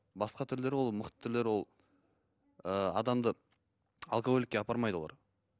басқа түрлері ол мықты түрлері ол ыыы адамды алкоголикке апармайды олар